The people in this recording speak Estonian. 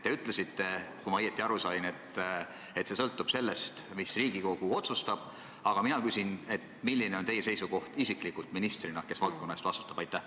Te ütlesite, kui ma õigesti aru sain, et see sõltub sellest, mida Riigikogu otsustab, aga mina küsin, milline on teie isiklik seisukoht ministrina, kes valdkonna eest vastutab?